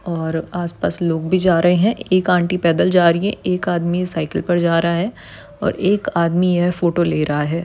और आसपास लोग भी जा रहे है। एक आंटी पैदल जा रही है। एक आदमी साइकल पर जा रहा है और एक आदमी यह फोटो ले रहा है।